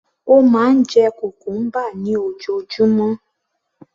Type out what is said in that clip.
Ó máa ń jẹ cucumber ní ojoojúmọ́